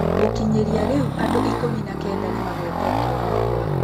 Gũkinyĩria rĩu andũikũmi na Kenda nĩmagwetetwo gũkua.